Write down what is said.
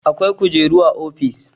Akwai kujeru a ofis.